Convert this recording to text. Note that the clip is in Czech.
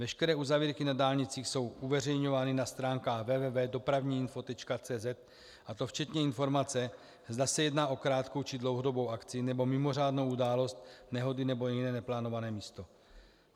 Veškeré uzavírky na dálnicích jsou uveřejňovány na stránkách www.dopravniinfo.cz, a to včetně informace, zda se jedná o krátkou, či dlouhodobou akci nebo mimořádnou událost, nehody nebo jiné neplánované místo.